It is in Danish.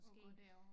At gå derover